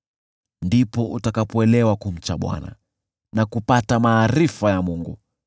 ndipo utakapoelewa kumcha Bwana na kupata maarifa ya Mungu.